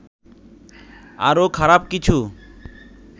আরো খারাপ কিছু